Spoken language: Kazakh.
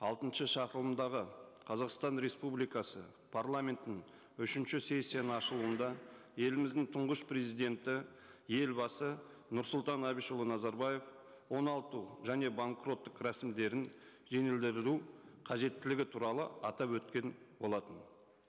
алтыншы шақырылымдағы қазақстан республикасы парламентінің үшінші сессияның ашылуында еліміздің тұңғыш президенті елбасы нұрсұлтан әбішұлы назарбаев оңалту және банкроттық рәсімдерін қажеттілігі туралы атап өткен болатын